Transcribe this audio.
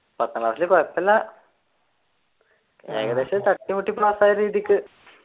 പത്താം ക്ലാസ്സിൽ കുഴപ്പമില്ല ഏകദേശം തട്ടീം മുട്ടീം പാസ്സായ രീതിക്ക്